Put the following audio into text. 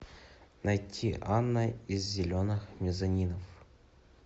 найти анна из зеленых мезонинов